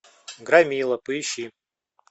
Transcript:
громила поищи